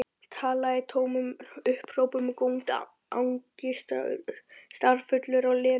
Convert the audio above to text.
Talaði í tómum upphrópunum, góndi angistarfullur á Lenu.